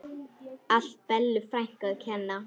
Allt Bellu frænku að kenna.